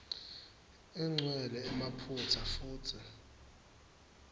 igcwele emaphutsa futsi